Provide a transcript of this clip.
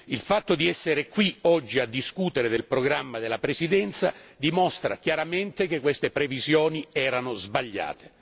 Il fatto di essere qui oggi a discutere del programma della Presidenza dimostra chiaramente che queste previsioni erano sbagliate.